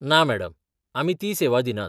ना मॅडम. आमी ती सेवा दिनात.